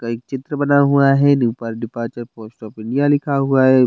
एक चित्रा बना हुआ है पॊस्ट ऑफ इंडिया लिखा हुआ है।